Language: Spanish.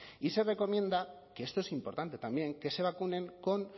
y se recomienda que esto es importante también que se vacunen con